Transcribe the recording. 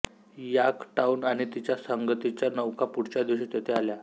Yorktown आणि तिच्या संगतीच्या नौका पुढच्या दिवशी तेथे आल्या